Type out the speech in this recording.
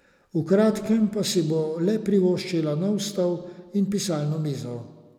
V kratkem pa si bo le privoščila nov stol in pisalno mizo.